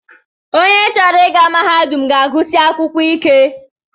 Onye chọrọ ịga mahadum ga-agụsi akwụkwọ ike